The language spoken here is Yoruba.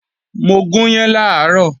Mo gùn yán làárọ̀